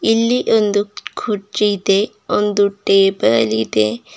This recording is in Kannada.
ಇಲ್ಲಿ ಒಂದು ಕುರ್ಚಿ ಇದೆ ಒಂದು ಟೇಬಲ್ ಇದೆ.